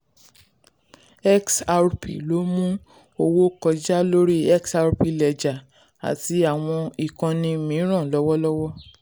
xrp ló ń mú owó kọjá lórí xrp ledger àti àwọn ìkànnì mìíràn lọ́wọ́lọ́wọ́.